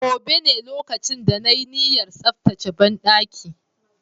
Gobe ​​ne lokacin da na yi niyyar tsaftace banɗaki